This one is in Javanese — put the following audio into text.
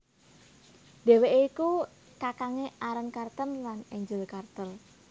Dhèwèké iku kakangné Aaron Carter lan Angel Carter